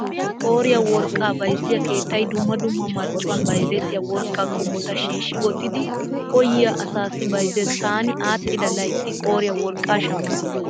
Qooriyaa worqqaa bayzziyaa keettay dumma dumma marccuwaan bayzzettiyaa worqqaa qommota shiishshi wottidi koyyiyaa asaassi bayzzees. Taani aadhdhida laytti qooriyaa worqqaa shammaas.